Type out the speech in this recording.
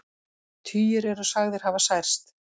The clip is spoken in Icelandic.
Tugir eru sagðir hafa særst